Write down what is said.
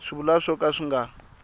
swivulwa swo ka swi nga